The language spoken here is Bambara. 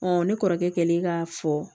ne kɔrɔkɛ kɛlen k'a fɔ